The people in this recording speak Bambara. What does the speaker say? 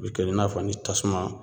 U bɛ kɛ i n'a fɔ ni tasuma